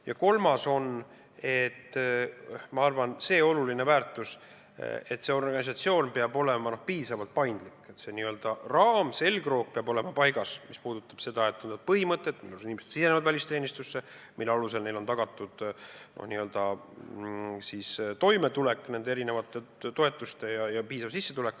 Ja kolmas on, ma arvan, see oluline väärtus, et organisatsioon peab olema piisavalt paindlik, see n-ö raam, selgroog peab olema paigas, on põhimõtted, kuidas inimesed sisenevad välisteenistusse, mille alusel neile on tagatud toimetulek erinevate toetuste kujul ja piisav sissetulek.